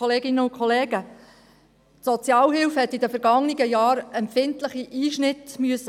Die Sozialhilfe hat in den vergangenen Jahren empfindliche Einschnitte hinnehmen müssen.